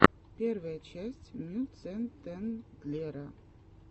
первая часть мюцентендлера